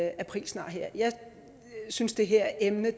aprilsnar her jeg synes det her emne